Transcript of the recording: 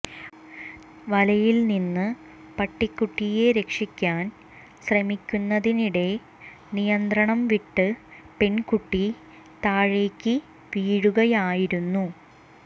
വലയിൽ നിന്ന് പട്ടിക്കുട്ടിയെ രക്ഷിക്കാൻ ശ്രമിക്കുന്നതിനിടെ നിയന്ത്രണം വിട്ട് പെൺകുട്ടി താഴേക്ക് വീഴുകയായിരുന്നു